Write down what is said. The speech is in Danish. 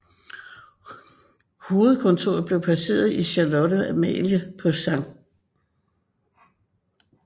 Hovedkontoret blev placeret i Charlotte Amalie på St